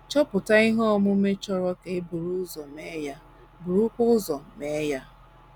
Chọpụta ihe omume chọrọ ka e buru ụzọ mee ya, burukwa ụzọ mee ya.